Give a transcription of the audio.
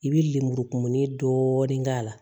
I bi lemurukumuni dɔɔnin k'a la